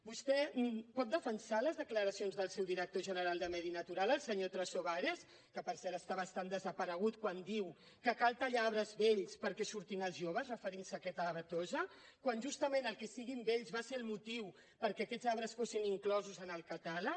vostè pot defensar les declaracions del seu director general de medi natural el senyor trasobares que per cert està bastant desaparegut quan diu que cal tallar arbres vells perquè surtin els joves referint se a aquesta avetosa quan justament el fet que siguin vells va ser el motiu perquè aquests arbres fossin inclosos en el catàleg